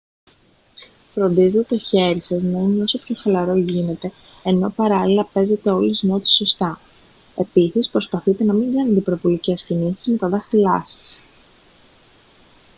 φροντίζετε το χέρι σας να είναι όσο πιο χαλαρό γίνεται ενώ παράλληλα παίζετε όλες τις νότες σωστά επίσης προσπαθείτε να μην κάνετε υπερβολικές κινήσεις με τα δάχτυλά σας